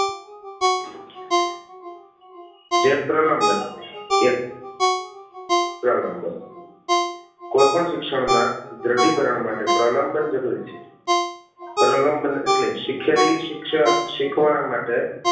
જે પ્રલંબન એક પ્રલંબન કોઈ પણ શિક્ષણ ના દ્રઢીકરણ માટે પ્રલંબન જરૂરી છે પ્રલંબન ઍટલે શીખેલી શિક્ષણ શીખવા માટે